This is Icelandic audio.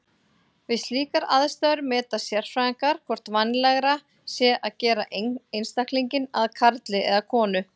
Við slíkar aðstæður meta sérfræðingar hvort vænlegra sé að gera einstaklinginn að karli eða konu.